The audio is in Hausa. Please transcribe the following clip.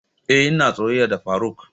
Eh ina soyayya da faruk.